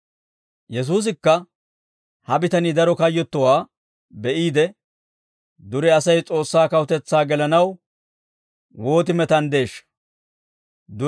Yesuusikka ha bitanii daro kayyottowaa be'iide, «Dure Asay S'oossaa kawutetsaa gelanaw wooti metanddeeshsha!